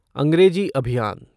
अंग्रेजी अभियान